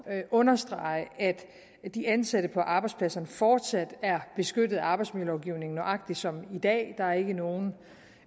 at understrege at de ansatte på arbejdspladserne fortsat er beskyttet af arbejdsmiljølovgivningen nøjagtig som i dag der er ikke nogen